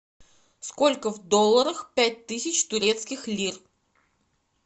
сколько в долларах пять тысяч турецких лир